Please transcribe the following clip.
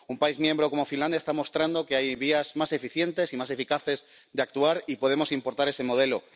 Un país miembro como Finlandia está mostrando que hay vías más eficientes y más eficaces de actuar, y podemos importar ese modelo.